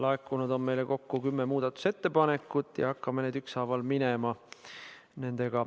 Meile on laekunud kokku kümme muudatusettepanekut ja hakkame nendega ükshaaval minema.